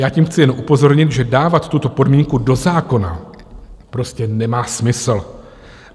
Já tím chci jen upozornit, že dávat tuto podmínku do zákona prostě nemá smysl.